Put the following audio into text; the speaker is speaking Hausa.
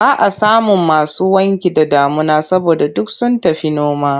Ba a samun masu wanki da damuna saboda duk sun tafi noma.